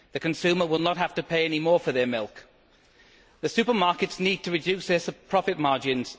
The consumer will not have to pay any more for their milk. The supermarkets need to reduce their profit margins.